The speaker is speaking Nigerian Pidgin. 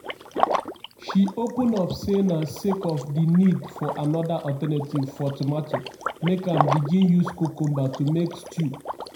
she open up say na sake of di need for anoda alternative for tomato make am begin use cucumber to make stew.